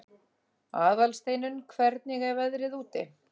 Aðalsteinunn, hvernig er veðrið úti?